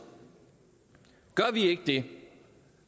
ikke forstået det